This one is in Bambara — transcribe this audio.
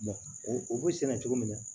u bɛ senna cogo min na